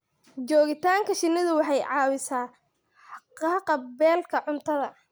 Joogitaanka shinnidu waxay caawisaa haqab-beelka cuntada.